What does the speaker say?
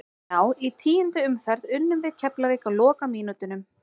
Já í tíundu umferð unnum við Keflavík á lokamínútunum.